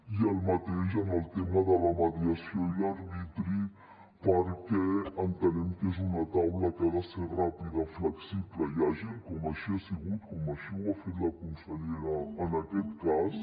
i el mateix en el tema de la mediació i l’arbitri perquè entenem que és una taula que ha de ser ràpida flexible i àgil com així ha sigut com així ho ha fet la consellera en aquest cas